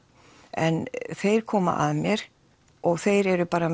en þeir koma að mér og þeir eru bara